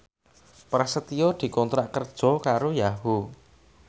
Prasetyo dikontrak kerja karo Yahoo!